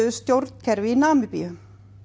stjórnkerfi í Namibíu